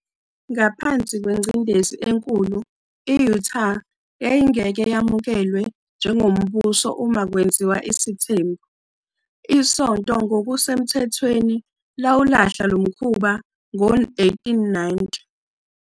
Ngaphansi kwengcindezi enkulu - i- Utah yayingeke yamukelwe njengombuso uma kwenziwa isithembu - isonto ngokusemthethweni lawalahla lo mkhuba ngo-1890.